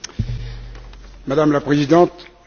Madame la Présidente, le cas de M.